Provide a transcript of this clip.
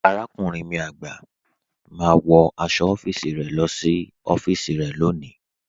Àràkúnrìn mi àgbá, wọ́ ní ọfisì rẹ sí ọfisì rẹ lọ́ní.